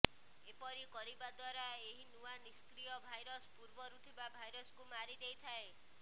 ଏପରି କରିବା ଦ୍ୱାରା ଏହି ନୂଆ ନିଷ୍କ୍ରିୟ ଭାଇରସ ପୂର୍ବରୁ ଥିବା ଭାଇରସକୁ ମାରିଦେଇଥାଏ